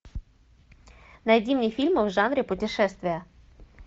найди мне фильмы в жанре путешествия